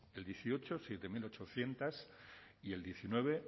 el dieciocho siete mil ochocientos y el diecinueve